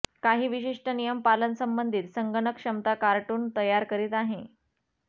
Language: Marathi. काही विशिष्ट नियम पालन संबंधित संगणक क्षमता कार्टून तयार करीत आहे